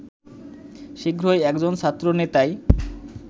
শীঘ্রই একজন ছাত্র নেতায়